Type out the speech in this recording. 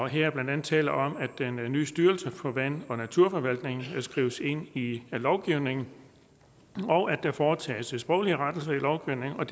her er blandt andet tale om at den nye styrelse for vand og naturforvaltningen skrives ind i lovgivningen og at der foretages sproglige rettelser i lovgivningen der